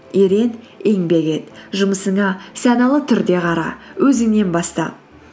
ерен еңбек ет жұмысыңа саналы түрде қара өзіңнен баста